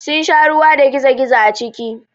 Sun sha ruwa da gizo-gizo a ciki.